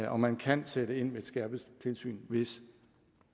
og man kan sætte ind med et skærpet tilsyn hvis